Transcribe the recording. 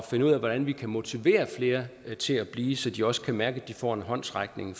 finde ud af hvordan vi kan motivere flere til at blive så de også kan mærke at de får en håndsrækning